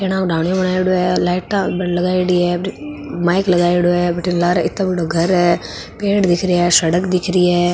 लाइटा लगायेडी है माइक लगायेडा है बठेन लारे ईतो बडो घर है पेड़ दिख रा है सड़क दिख री है।